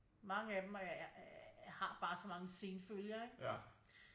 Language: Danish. Mange af dem har bare så mange senfølger ikke